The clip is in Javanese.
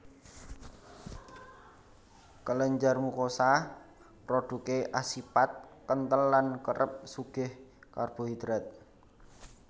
Kelenjar mukosa prodhuké asipat kenthel lan kerep sugih karbohidrat